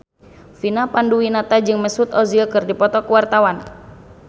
Vina Panduwinata jeung Mesut Ozil keur dipoto ku wartawan